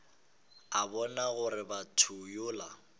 a bona gore motho yola